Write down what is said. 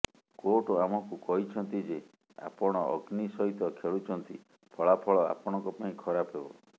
court ଆମକୁ କହିଛନ୍ତି ଯେ ଆପଣ ଅଗ୍ନି ସହିତ ଖେଳୁଛନ୍ତି ଫଳାଫଳ ଆପଣଙ୍କ ପାଇଁ ଖରାପ ହେବ